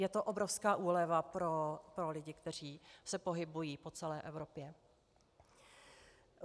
Je to obrovská úleva pro lidi, kteří se pohybují po celé Evropě.